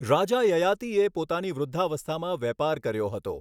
રાજા યયાતિએ પોતાની વૃદ્ધાવસ્થામાં વેપાર કર્યો હતો.